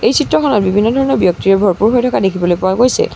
এই চিত্ৰখনত বিভিন্ন ধৰণৰ ব্যক্তিৰে ভৰপুৰ হৈ থকা দেখিবলৈ পোৱা গৈছে।